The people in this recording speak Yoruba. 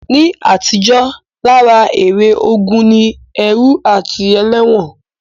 Ní àtijó, lára èrè ogun ni ẹrú àti ẹlẹ́wọ̀n